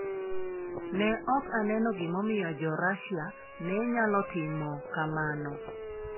Ne ok oneno gimomiyo Jo Russia ne nyalo timo kamano.